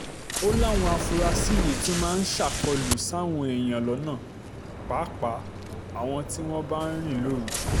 ó láwọn afurasí yìí tún máa ń ṣàkólú sáwọn èèyàn lọ́nà páàpáà àwọn tí wọ́n bá ń rìn lóru